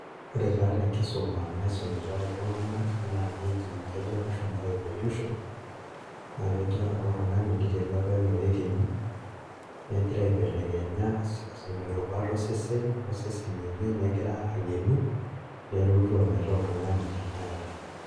Ore taa tenkisuma naisumitai iltung'anak, naa keji kejo ilashumpa evolution, naa kejo ore apa oltung'ani niterua apa enaa oekenyi, negira aibelekenya irubat osesen, osesen lenye negira ang'enu, nelotu ometaa oltung'ani tanakata.